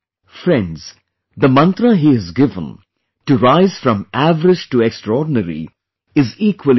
Friends, the mantra he has given to rise from average to extraordinary is equally important